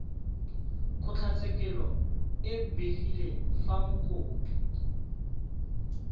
kgotlatshekelo e begile fa mokopi